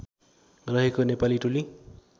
रहेको नेपाली टोली